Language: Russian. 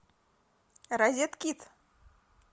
розеткид